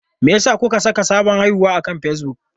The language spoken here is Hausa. Me yasa kuka saka sabon haihuwa akan Facebook?